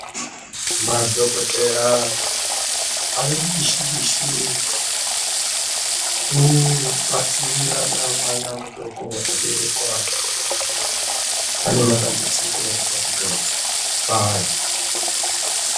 Madhokodheya ari mubishi bishi kubatirirana mwana mudoko aberekwa ane madambudziko akatikati paari.